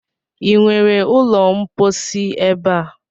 Ị nwere ụlọ mposi ebe a?